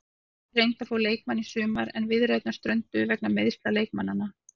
Liðið reyndi að fá leikmanninn í sumar en viðræðurnar strönduðu vegna meiðsla leikmannanna.